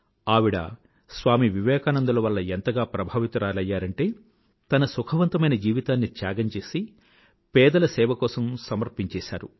ఆవిడ స్వామి వివేకానందుల వల్ల ఎంతగా ప్రభావితురాలైందంటే తన సుఖవంతమైన జీవితాన్ని త్యాగం చేసి పేదల సేవ కోసం సమర్పించేసింది